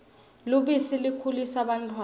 lubisi likhulisa bantfwana